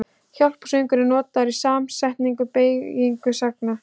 Hjálparsögnin er notuð í samsettri beygingu sagnar.